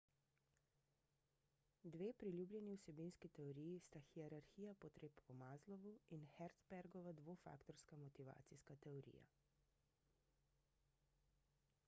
dve priljubljeni vsebinski teoriji sta hierarhija potreb po maslowu in herzbergova dvofaktorska motivacijska teorija